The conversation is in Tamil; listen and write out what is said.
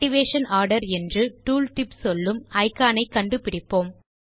ஆக்டிவேஷன் ஆர்டர் என்றூ டூல்டிப் சொல்லும் இக்கான் ஐ கண்டுபிடிப்போம்